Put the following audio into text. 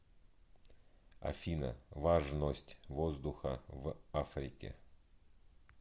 афина важность воздуха в африке